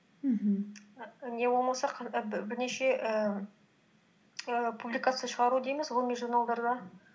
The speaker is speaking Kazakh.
мхм і не болмаса бірнеше ііі публикация шығару дейміз ғылыми журналдарда